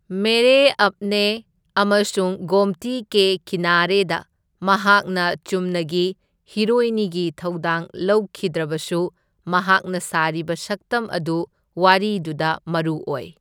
ꯃꯦꯔꯦ ꯑꯞꯅꯦ ꯑꯃꯁꯨꯡ ꯒꯣꯝꯇꯤ ꯀꯦ ꯀꯤꯅꯥꯔꯦꯗ ꯃꯍꯥꯛꯅ ꯆꯨꯝꯅꯒꯤ ꯍꯤꯔꯣꯏꯅꯤꯒꯤ ꯊꯧꯗꯥꯡ ꯂꯧꯈꯤꯗ꯭ꯔꯕꯁꯨ ꯃꯍꯥꯛꯅ ꯁꯥꯔꯤꯕ ꯁꯛꯇꯝ ꯑꯗꯨ ꯋꯥꯔꯤꯗꯨꯗ ꯃꯔꯨ ꯑꯣꯢ꯫